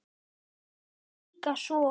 Það fer líka svo.